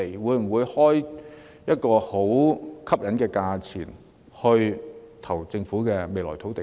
會否開出很吸引的價格來競投政府日後出售的土地呢？